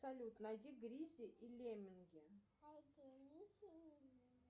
салют найди гризли и лемминги